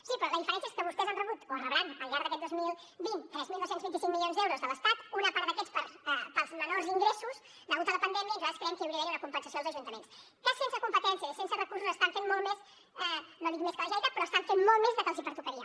sí però la diferència és que vostès han rebut o rebran al llarg d’aquest dos mil vint tres mil dos cents i vint cinc milions d’euros de l’estat una part d’aquests pels menors ingressos degut a la pandèmia i nosaltres creiem que hi hauria d’haver una compensació als ajuntaments que sense competències i sense recursos estan fent molt més no dic més que la generalitat però estan fent molt més del que els pertocaria